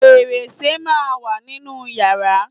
Fẹ̀rẹsẹ́ máà ń wà nínú yàrá.